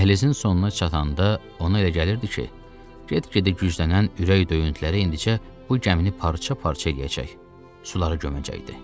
Dəhlizin sonuna çatanda ona elə gəlirdi ki, get-gedə güclənən ürək döyüntüləri indicə bu gəmini parça-parça eləyəcək, suları göməcəkdi.